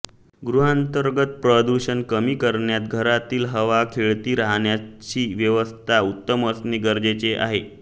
गृहांतर्गत प्रदूषण कमी करण्यात घरातील हवा खेळती राहण्याची व्यवस्था उत्तम असणे गरजेचे आहे